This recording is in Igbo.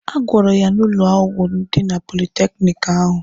A gwọrọ ya n'ụlọ ọgwụ dị na politekiniki ahụ.